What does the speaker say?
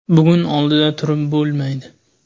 Bugun oldida turib bo‘lmaydi.